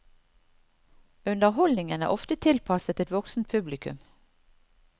Underholdningen er ofte tilpasset et voksent publikum.